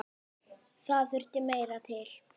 Það þurfti meira til.